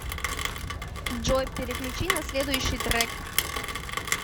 джой переключи на следущий трек